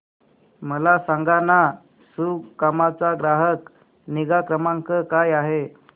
मला सांगाना सुकाम चा ग्राहक निगा क्रमांक काय आहे